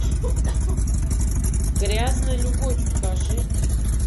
грязная любовь покажи